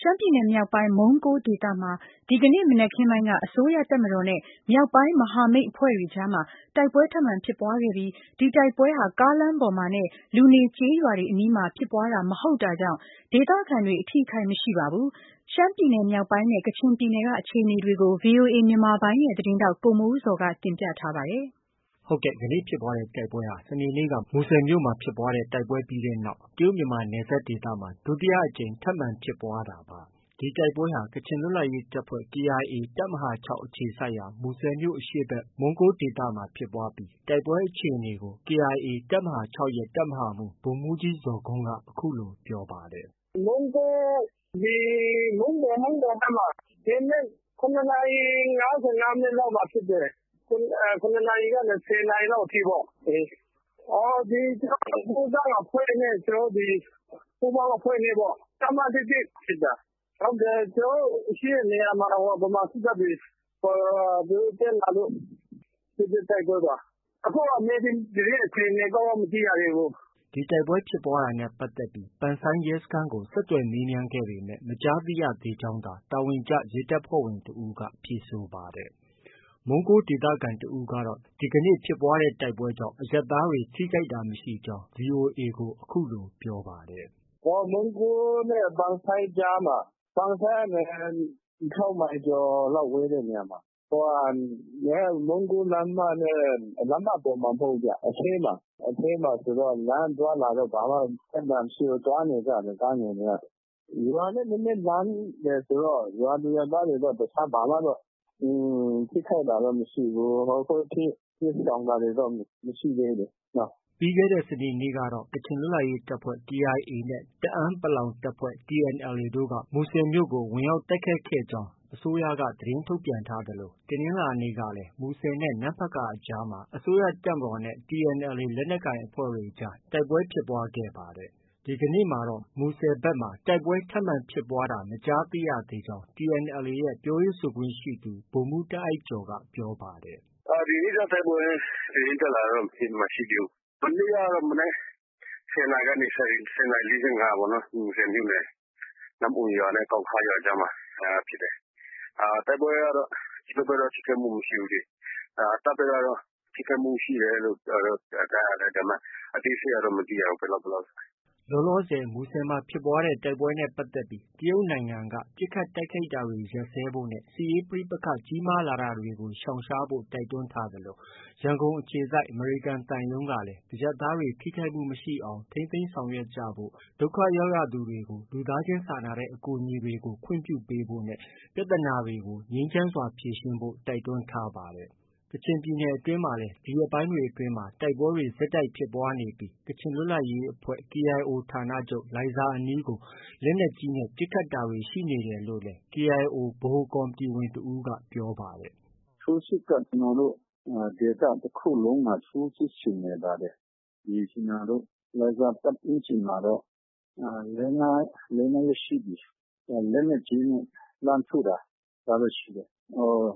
ရှမ်းပြည်နယ်မြောက်ပိုင်း မုန်းကိုးဒေသမှာ ဒီကနေ့မနက်ခင်းပိုင်းက အစိုးရတပ်မတော်နဲ့ မြောက်ပိုင်း မဟာမိတ် အဖွဲ့တွေကြားမှာ တိုက်ပွဲထပ်မံဖြစ်ပွားခဲ့ဲပြီး ဒီတိုက်ပွဲဟာ ကားလမ်း ပေါ်မှာနဲ့ လူနေကျေးရွာတွေအနီးမှာ ဖြစ်ပွားတာ မဟုတ်တာကြောင့် ဒေသခံတွေ အထိအခိုက် မရှိပါဘူး။ ရှမ်းပြည်နယ်မြောက်ပိုင်းနဲ့ ကချင်ပြည်နယ် က အခြေအနေတွေကို ဗွီအိုအေမြန်မာပိုင်းရဲ့ သတင်းထောက် ကိုမိုးဇော်က တင်ပြထားပါတယ်။ ဒီကနေ့ဖြစ်ပွားတဲ့ တိုက်ပွဲဟာ စနေနေ့က မူဆယ်မြို့မှာ တိုက်ပွဲဖြစ်ပွားခဲ့တဲ့နောက် တရုတ်- မြန်မာနယ်စပ် ဒေသမှာ ဒုတိယအကြိမ်ထပ်မံ ဖြစ်ပွားတဲ့ တိုက်ပွဲလည်းဖြစ်ပါတယ်။ ဒီတိုက်ပွဲဟာ ကချင်လွတ်လပ်ရေးတပ်ဖွဲ့ KIA တပ်မဟာ၆ အခြေစိုက်ရာ မူဆယ်မြို့အရှေ့ဖက် မုန်းကိုးဒေသမှာ ဖြစ်ပွားတာဖြစ်ပြီး တိုက်ပွဲအခြေအနေကို KIA တပ်မဟာ၆ရဲ့ တပ်မဟာမှုးဗိုလ်မှုးကြီး ဇော်ဂွန်းက အခုလို ပြောပါတယ်။ “ မုန်းကိုး ဒီ မုန်းပေါ်ဖက်မှာ၊ ဒီနေ့ ၇နာရီ ၅၅မိနစ်လောက်မှာဖြစ်တယ်။ ၇နာရီကနေ ၁၀နာရီလောက် အထိပေါ့။ ကျနော်တို့ ဒီကိုးကန့်အဖွဲ့နဲ့ ပူးပေါင်းအဖွဲ့နဲ့ ဒီတပ်မ ၁၁နဲ့ ဖြစ်တာ။ ကျနော်တို့ ရှိတဲ့နေရာမှာ ဗမာစစ်တပ်တွေ သူတို့ တက်လာလို့ ဖြစ်တဲ့ တိုက်ပွဲပါ။ အခုက မြေပြင်သတင်းအခြေအနေ ကောင်း ကောင်း မသိရသေးဘူး။ ” ဒီတိုက်ပွဲဖြစ်ပွားတာနဲ့ပတ်သက်ပြီး ပန်ဆိုင်းရဲစခန်းကို ဆက်သွယ်မေးမြန်းခဲ့ပေမဲ့ မကြားသိရသေးကြောင်းသာ တာဝန်ကျရဲတပ်ဖွဲ့ဝင်တဦးက ဖြေဆိုပါတယ်။ မုန်းကိုးဒေသခံတဦးကတော့ ဒီကနေ့ဖြစ်ပွားတဲ့တိုက်ပွဲကြောင့် အရပ်သားတွေ ထိခိုက်တာမရှိဘူးလို့ VOA ကို ပြောပါတယ်။ “မုန်းကိုးနဲ့ ပန်ဆိုင်းကြားမှာ။ ပန်ဆိုင်းကနေ ၆မိုင်ကျော်လောက် ဝေးတဲ့နေရာမှာ။ မုန်းကိုးလမ်းမနဲ့.. လမ်းမ ပေါ်မှာမဟုတ်ဘူးဗျ။ အထဲမှာ။ အထဲမှာဆိုတော့ လမ်းအသွားအလာ ဘာမှ ပြဿနာမရှိဘူး။ သွားနေကြတယ် ကားငယ်တွေက။ ရွာနဲ့ နည်းနည်းလှမ်းတယ်ဆိုတော့ ရွာသူရွာသားတွေတော့ တခြားဘာမှ ထိခိုက်တာတော့ မရှိဘူး။ ခုထိ တိမ်းရှောင်တာတွေတော့ မရှိသေးဘူးလေ။ ” ပြီးခဲ့တဲ့စနေနေ့ကတော့ ကချင်လွတ်လပ်ရေးတပ်ဖွဲ့ KIA နဲ့ တအာင်း တပ်ဖွဲ့ TNLA တို့က မူဆယ်မြို့ကို ဝင်ရောက်တိုက်ခိုက်ခဲ့ကြောင်း အစိုးရက သတင်းထုတ်ပြန်ထားသလို တနင်္လာနေ့မှာလည်း မူဆယ်နဲ့ နမ့်ဖတ်ကာအကြားမှာ အစိုးရတပ်မတော်နဲ့ TNLAလက်နက်ကိုင်အဖွဲ့တွေကြား တိုက်ပွဲဖြစ်ခဲ့ပါတယ်။ ဒီကနေ့မှာတော့ မူဆယ်ဒေသဖက်မှာ တိုက်ပွဲထပ်မံဖြစ်ပွားတာ မကြားရသေးကြောင်း TNLA ရဲ့ ပြောရေးဆိုခွင့်ရှိသူ ဗိုလ်မှုးတာအိုက်ကျော်က ပြောပါတယ်။ “ ဒီနေ့တော့ တိုက်ပွဲသတင်းတက်လာတာတော့ မရှိသေးဘူး။ မနေ့ကတော့ မနက် ၁၀နာရီကနေ ၁၀နာရီ ၄၅ပေါ့နော် မူဆယ်မြို့နယ် နမ့်အွန်ရွာနဲ့ ကောင်းခါးရွာကြားမှာဖြစ်တယ်။ တိုက်ပွဲကတော့ ကျနော်တို့ဖက်တော့ ထိခိုက်မှုမရှိဘူးလေ။ တပ်ဖက်ကတော့ ထိခိုက်မှုရှိတယ်လို့ ကြားတယ်။ အသေးစိတ်ကတော့ မသိရဘူး။ ဘယ်လောက် ဘယ်လောက် ဆိုတာ။ ” လောလောဆည် မူဆယ်မှာဖြစ်ပွားခဲ့တဲ့တိုက်ပွဲနဲ့ပတ်သက်ပြီး တရုတ်နိုင်ငံက ပစ်ခတ်တိုက်ခိုက်တာတွေ ရပ်စဲဖို့နဲ့ စစ်ရေးပဋိပက္ခကြီးမားလာတာကို ရှောင်ရှားဖို့ တိုက်တွန်းထားသလို ရန်ကုန်အခြေစိုက် အမေရိကန်သံရုံးကလည်း အရပ်သားတွေ ထိခိုက်မှုမရှိအောင် ထိန်းသိမ်းဆောင်ရွက်ကြဖို့၊ ဒုက္ခရောက်ရသူတွေကို လူသားချင်းစာနာတဲ့ အကူအညီပေးတာတွေကို ခွင့်ပြုဖို့၊ ပြဿနာတွေကို ငြိမ်းချမ်းစွာဖြေရှင်းဖို့ တိုက်တွန်းထားပါတယ်။ ကချင်ပြည်နယ်အတွင်းမှာလည်း ဒီရက်ပိုင်းတွေအတွင်း တိုက်ပွဲတွေဆက်တိုက်ဖြစ်ပွားနေပြီး ကချင် လွတ်လပ်ရေးအဖွဲ့ KIO ဌာနချုပ် လိုင်ဇာအနီးကို လက်နက်ကြီးနဲ့ ပစ်ခတ်တာတွေ ရှိနေတယ်လို့လည်း KIO ဗဟိုကော်မတီဝင်တဦးက ပြောပါတယ်။ “ထိုးစစ်က ကျနော်တို့ ဒေသတခုလုံးမှာ ထိုးစစ်ဆင်နေပါတယ်။ ကျနော်တို့ လိုင်ဇာပတ်ဝန်းကျင်မှာတော့ လေး၊ ငါးရက်ရှိပြီ လက်နက်ကြီးနဲ့ လှမ်းထုတာ။ ဒါတော့ ရှိတယ်